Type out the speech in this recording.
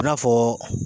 I n'a fɔ